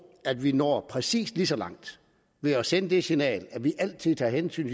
at vi når præcis lige så langt ved at sende det signal at vi altid tager hensyn